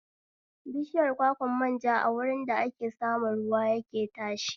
Bishiyar kwakwan manja a wurin da ake samun ruwa yake tashi